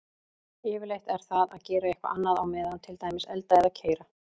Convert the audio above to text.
Yfirleitt er það að gera eitthvað annað á meðan, til dæmis elda eða keyra.